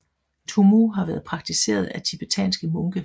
Tummo har været praktiseret af tibetanske munke